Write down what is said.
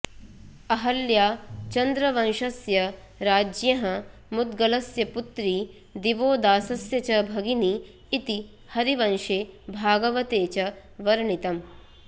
अहल्या चन्द्रवंशस्य राज्ञः मुद्गलस्य पुत्री दिवोदासस्य च भगिनी इति हरिवंशे भागवते च वर्णितम्